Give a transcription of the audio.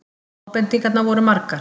Ábendingarnar voru margar.